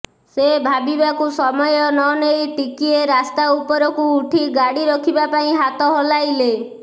ସେ ଭାବିବାକୁ ସମୟ ନ ନେଇ ଟିକିଏ ରାସ୍ତା ଉପରକୁ ଉଠି ଗାଡ଼ି ରଖିବା ପାଇଁ ହାତ ହଲାଇଲେ